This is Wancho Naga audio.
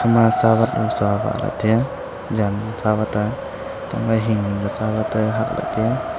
ekhama tsawat buchu awah lahley taiya Jan tsawat a etangma hinghing ka tsawat e hak lahey taiya.